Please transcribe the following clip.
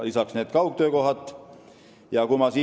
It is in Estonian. Lisaks on kaugtöökohtade võimalus.